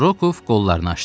Rokov qollarını açdı.